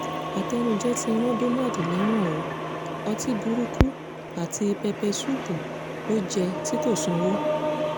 àtẹnujẹ́ ti ran donald lẹ́wọ̀n o ọtí burúkutu àti pẹpẹ ṣuùpù ló jẹ́ tí kò sanwó